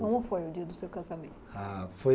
Como foi o dia do seu casamento? Ah, foi